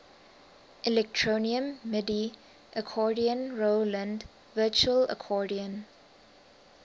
electronium midi accordion roland virtual accordion